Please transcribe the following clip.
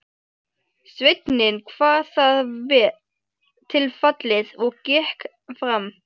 Sveinninn kvað það vel til fallið og gekk fram.